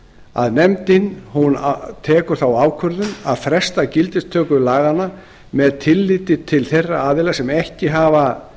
að nefndin tekur þá ákvörðun að fresta gildistöku laganna með tilliti til þeirra aðila sem ekki hafa